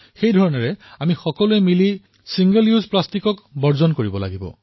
ঠিক সেইদৰে আমি একত্ৰিত হৈ প্লাষ্টিকৰ ব্যৱহাৰো নোহোৱা কৰিব লাগিব